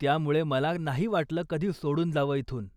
त्यामुळे मला नाही वाटलं कधी सोडून जावं इथून.